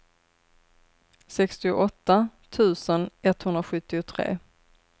sextioåtta tusen etthundrasjuttiotre